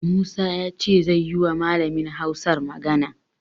Musa ya ce zai yiwa Malamin Hausar magana.